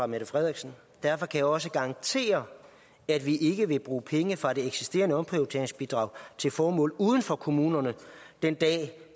mette frederiksen derfor kan jeg også garantere at vi ikke vil bruge penge fra det eksisterende omprioriteringsbidrag til formål uden for kommunerne den dag